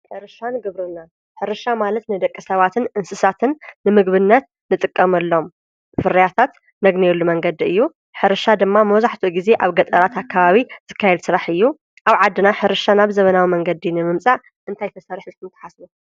ሕርሻን ግብርናን:-ሕርሻ ማለት ንደቂሰባትን እንስሳትን ንምግብነት ንጥቀመሎም ፍርያታት ነግንየሉ መንገዲ እዩ፡፡ ሕርሻ ድማ መብዛሕትኡ ግዜ ኣብ ገጠራት ኣካባቢ ዝካየድ ስራሕ እዩ፡፡ ኣብ ዓድና ሕርሻና ብዘመናዊ መንገዲ ንምምፃእ ክንታይ ተሰሪሑ ኢልኩም ትሓስቡ?